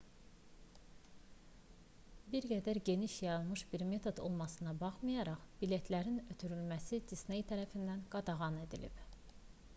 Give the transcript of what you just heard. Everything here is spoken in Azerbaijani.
bir qədər geniş yayılmış bir metod olmasına baxmayaraq biletlərin ötürülməsi disney tərəfindən qadağan edilib